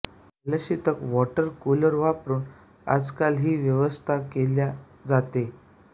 जलशितक water cooler वापरून आजकाल ही व्यवस्था केल्या जाते